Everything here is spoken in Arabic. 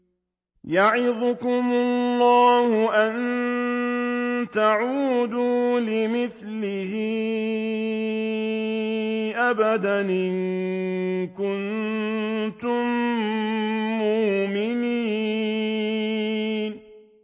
يَعِظُكُمُ اللَّهُ أَن تَعُودُوا لِمِثْلِهِ أَبَدًا إِن كُنتُم مُّؤْمِنِينَ